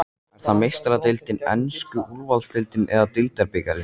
Er það Meistaradeildin, enska úrvalsdeildin eða deildarbikarinn?